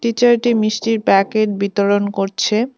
Teacher -টি মিষ্টির packet বিতরণ করছে।